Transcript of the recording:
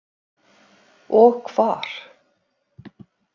Og hvar.